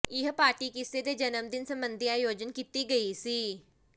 ਇਹ ਪਾਰਟੀ ਕਿਸੇ ਦੇ ਜਨਮ ਦਿਨ ਸਬੰਧੀ ਆਯੋਜਨ ਕੀਤੀ ਗਈ ਸੀ